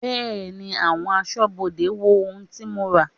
Bẹẹni, àwọn aṣọ́bodè wo ohun tí mo ra.